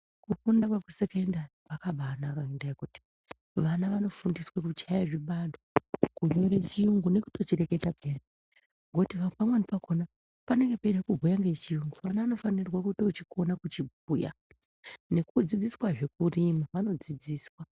Kufunda kwekusekendari kwakabaanaka ngendaa yekuti vana vanofundiswe kuchaya zvibalo, kunyore chiyungu nekutochirekata peyani. Ngokuti pamweni pakona panenge peida kubhuya ngechiyungu, mwana unofanira kutochikona kuchibhuya. Nekudzidziswazve kurima, vanodzidziswa.